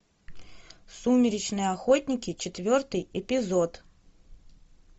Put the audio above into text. сумеречные охотники четвертый эпизод